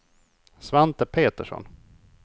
Svante Petersson